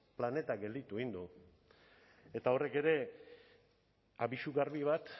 planeta gelditu egin du eta horrek ere abisu berri bat